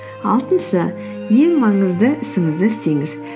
алтыншы ең маңызды ісіңізді істеңіз